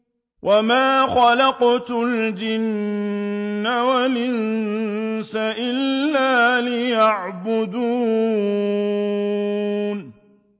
وَمَا خَلَقْتُ الْجِنَّ وَالْإِنسَ إِلَّا لِيَعْبُدُونِ